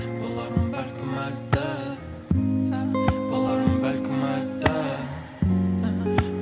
болармын бәлкім әлі де болармын бәлкім әлі де